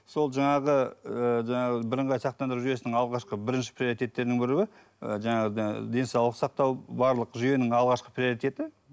сол жаңағы ы жаңағы бірыңғай сақтандыру жүйесінің алғашқы бірінші приоритеттерінің біреуі ы жаңағы денсаулық сақтау барлық жүйенің алғашқы приоритеті